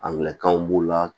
A minɛ kan b'u la